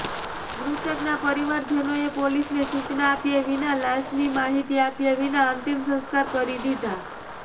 મૃતકના પરિવાજનોએ પોલીસને સૂચના આપ્યા વિના લાશની માહિતી આપ્યા વિના અંતિમ સંસ્કાર કરી દિધા